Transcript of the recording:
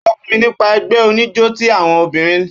Ó sọ fún mi nípa ẹgbẹ́ oníjó ti àwọn obìnrin